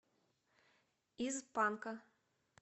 из панка